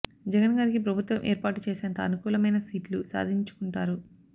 జగన్ గారికి ప్రభుత్వం ఏర్పాటు చేసేంత అనుకులమైన సీట్లు సాధించు కుంటారు